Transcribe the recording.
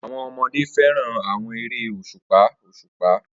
Awọn ọmọde fẹran awọn ere oṣupa oṣupa